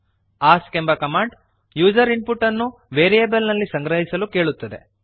ask ಎಂಬ command user input ಅನ್ನು variable ನಲ್ಲಿ ಸಂಗ್ರಹಿಸಲು ಕೇಳುತ್ತದೆ